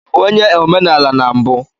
Ị bụ onye omenala na mbụ?